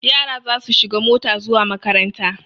Yara za su shiga mota zuwa makaranta.